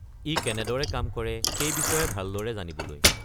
ই কেনেদৰে কাম কৰে সেই বিষয়ে ভালদৰে জানিবলৈ।